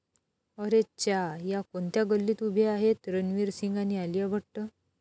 अरेच्चा...या कोणत्या गल्लीत उभे आहेत रणवीर सिंग आणि आलिया भट्ट